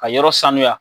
Ka yɔrɔ sanuya